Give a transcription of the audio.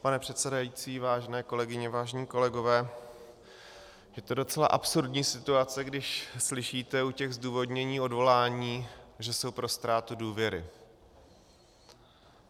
Pane předsedající, vážené kolegyně, vážení kolegové, je to docela absurdní situace, když slyšíte u těch zdůvodnění odvolání, že jsou pro ztrátu důvěry.